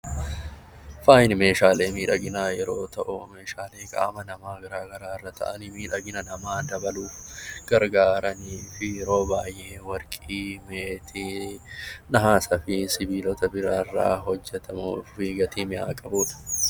Faayi meeshaalee miidhaginaa yeroo ta'u, meeshaalee qaama namaa garaa garaa irra taa'anii miidhagina namaa dabaluuuf gargaaranii fi yeroo baay'ee Warqii, Meetii, Nahasaa fi sibiilota biraa irraa hojjetamuu fi gatii mi'aa qabu dha.